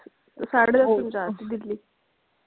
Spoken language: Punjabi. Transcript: ਸਾਡੇ ਦੱਸ ਪਹੁੰਚਾ .